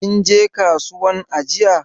Kinje kasuwan jiya?